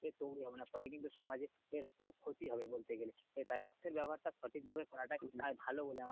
তৈরি হবে না ফলে কিন্তু সমাজের আহ ক্ষতি হবে বলতে গেলে তাই অর্থের ব্যবহার টা সঠিক ভাবে করাটাই বোধ হয় ভালো বলে আমার মনে হচ্ছে